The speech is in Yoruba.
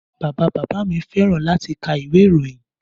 Bàbá bàbá mi fẹ́ràn láti kà ìwé ìròyìn